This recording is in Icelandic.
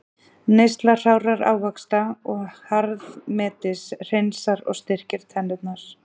Neysla hrárra ávaxta og harðmetis hreinsar og styrkir tennurnar.